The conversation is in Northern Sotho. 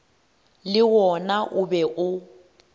le wona o be o